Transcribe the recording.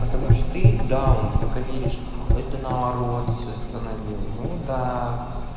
потому что ты даун пока веришь это наоборот все установил ну да